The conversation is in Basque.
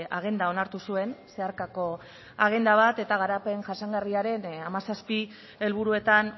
agenda onartu zuen zeharkako agenda bat eta garapen jasangarriaren hamazazpi helburuetan